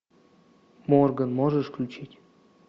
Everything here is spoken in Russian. морган можешь включить